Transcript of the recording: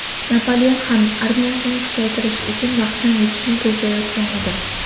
Napoleon ham armiyasini kuchaytirish uchun vaqtdan yutishni ko‘zlayotgan edi.